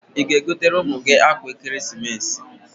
Ị ga-egotere ụmụ gị akwa ekeresimesi?